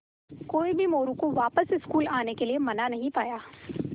कोई भी मोरू को वापस स्कूल आने के लिये मना नहीं पाया